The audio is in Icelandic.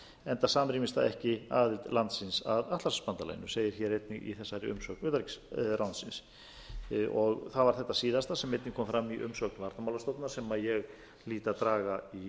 enda samrýmist það ekki aðild landsins að atlantshafsbandalaginu segir hér einnig í þessari umsögn utanríkisráðuneytisins það var þetta síðasta sem einnig kom fram í umsögn varnarmálastofnunar sem ég hlýt að draga í